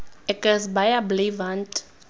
ek is baie bly want